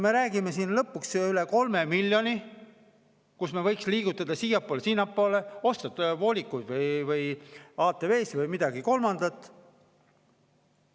Me räägime siin lõpuks üle 3 miljoni, mida me võiks liigutada siiapoole ja sinnapoole, osta voolikuid või ATV-sid või midagi kolmandat.